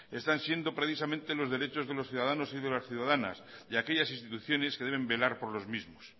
están siendo precisamente los derechos de los ciudadanos y las ciudadanas y aquellas instituciones que deben velar por los mismos